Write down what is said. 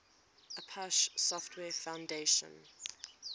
apache software foundation